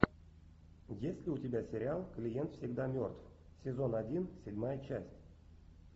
есть ли у тебя сериал клиент всегда мертв сезон один седьмая часть